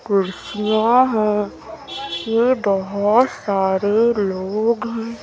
कुर्सियां है ये बहोत सारे लोग हैं।